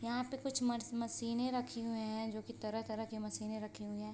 यहाँ पे कुछ मर्स मशीने रखे हुए है जो की तरह-तरह के मशीने रखी हुए हैं।